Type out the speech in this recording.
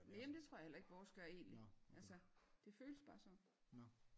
Næ men det tror jeg heller ikke vores gør egentligt altså det føles bare sådan